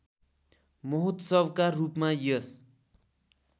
महोत्सवका रूपमा यस